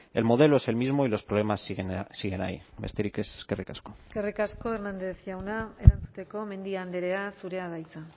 el modelo es el mismo y los problemas siguen ahí besterik ez eskerrik asko eskerrik asko hernández jauna erantzuteko mendia andrea zurea da hitza